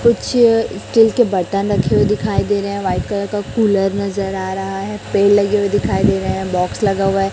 कुछ स्टील के बरतन रखे हुए दिखाई रहे हैं। व्हाइट कलर का कूलर नजर आ रहा है। पेड़ लगे हुए दिखाई दे रहे हैं। बॉक्स लगा हुआ है।